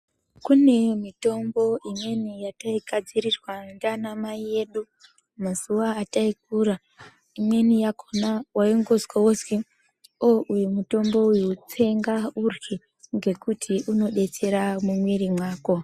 Kune mitombo imweni yatai gadzirirwa ndiana mai edu mazuva atai kura imweni yakona waingozwa wonzi o uyu mutombo uyu tsenga urye ngekuru inodetsera mu mwiri mako.